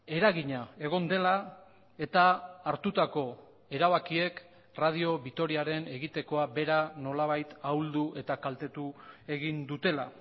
eragina egon dela eta hartutako erabakiek radio vitoriaren egitekoa bera nolabait ahuldu eta kaltetu egin dutela